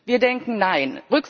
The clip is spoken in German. Wir denken Nein.